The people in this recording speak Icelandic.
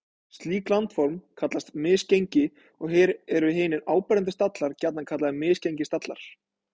Slík landform kallast misgengi og eru hinir áberandi stallar gjarnan kallaðir misgengisstallar.